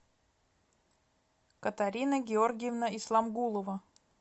катарина георгиевна исламгулова